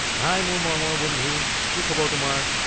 হাই মোৰ মৰমৰ বন্ধু, কি খবৰ তোমাৰ?